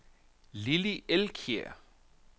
Lilli Elkjær